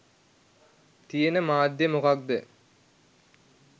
තියෙන මාධ්‍යය මොකක් ද?